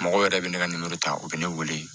Mɔgɔ yɛrɛ bɛ ne ka ta u bɛ ne wele